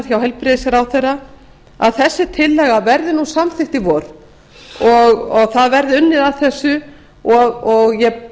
hjá heilbrigðisráðherra að tillagan verði samþykkt í vor og unnið verði að þessu ég